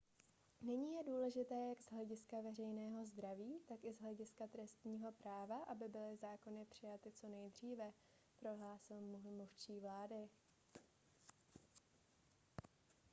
nyní je důležité jak z hlediska veřejného zdraví tak i z hlediska trestního práva aby byly zákony přijaty co nejdříve prohlásil mluvčí vlády